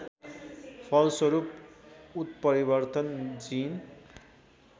फलस्वरूप उत्परिवर्तन जिन